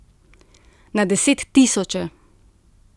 Na desettisoče.